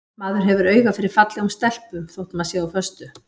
Maður hefur auga fyrir fallegum stelpum þótt maður sé á föstu.